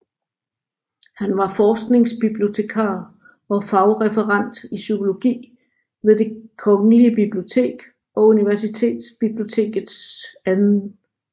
Han var forskningsbibliotekar og fagreferent i psykologi ved Det Kongelige Bibliotek og Universitetsbibliotekets 2